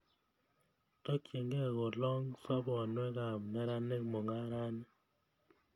Takchinkei kolong' soponwek ap meranik mung'arani